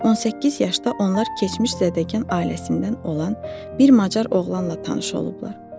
18 yaşda onlar keçmiş zəddəkan ailəsindən olan bir macar oğlanla tanış olublar.